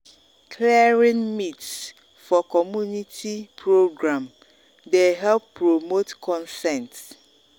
clearing myths for community program dey help promote consent.